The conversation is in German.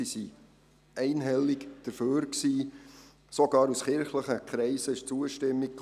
Es gab sogar aus kirchlichen Kreisen Zustimmung.